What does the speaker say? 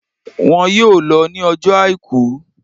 Won yóò lo ní ọjọ́ Àìkú